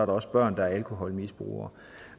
også børn der er alkoholmisbrugere